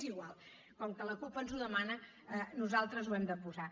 és igual com que la cup ens ho demana nosaltres ho hem de posar